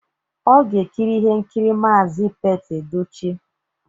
Ọ ga-ekiri ihe nkiri Maazi Pete Edochie